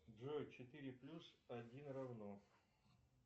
джой четыре плюс один равно